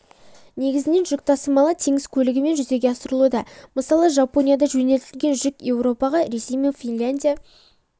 негізінен жүк тасымалы теңіз көлігімен жүзеге асырылуда мысалы жапониядан жөнелтілген жүк еуропаға ресей мен финляндия